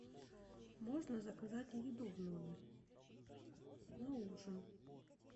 можно заказать еду в номер на ужин